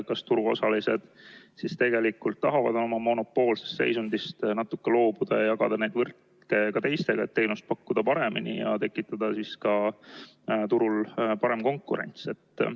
Kas turuosalised tegelikult tahavad oma monopoolsest seisundist loobuda ja jagada neid võrke ka teistele, et teenust paremini pakkuda ja tekitada turul paremat konkurentsi?